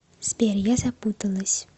сбер я запуталась